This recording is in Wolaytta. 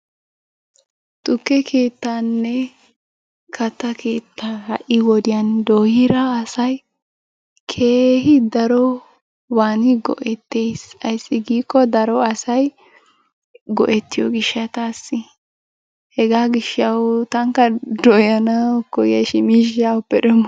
Tukke keettanne kattaa keettaa ha'i wodiyaan doyira asay keehi daroban go"ettees, ayssi giiko daro asay go"ettiyo gishshatassi. Hega gishshaw tankka dooyyanaw koyyayshin miishshaa awuppe demmo?